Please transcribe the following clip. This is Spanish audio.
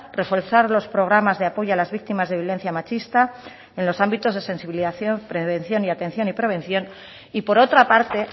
reforzar los programas de apoyo a las víctimas de violencia machista en los ámbitos de sensibilización prevención y atención y prevención y por otra parte